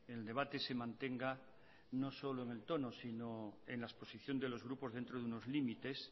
el debate se mantenga no solo en el tono sino en la exposición de los grupos dentro de unos límites